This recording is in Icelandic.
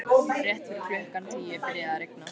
Rétt fyrir klukkan tíu byrjaði að rigna.